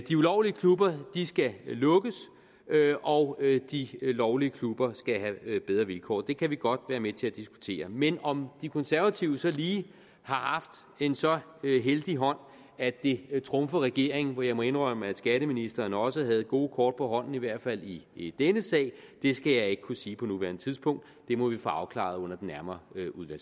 ulovlige klubber skal lukkes og de lovlige klubber skal have bedre vilkår det kan vi godt være med til at diskutere men om de konservative så lige har haft en så heldig hånd at det trumfer regeringen for jeg må indrømme at skatteministeren også havde gode kort på hånden i hvert fald i i denne sag skal jeg ikke kunne sige på nuværende tidspunkt det må vi få afklaret nærmere